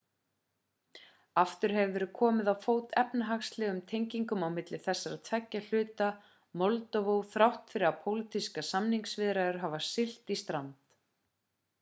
aftur hefur verið komið á fót efnahagslegum tengingum milli þessara tveggja hluta moldóvu þrátt fyrir að pólitískar samningaviðræður hafi siglt í strand